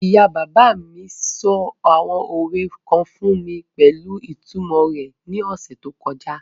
Ìyá-bàbá sọ àwọn òwe kan fún mi pẹ̀lú ìtumọ̀ wọn ní ọ̀sẹ̀ tó kọjá.